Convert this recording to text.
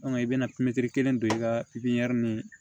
i bɛna kelen don i ka pipiniyɛri ni